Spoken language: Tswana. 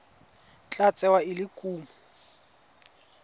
tla tsewa e le kumo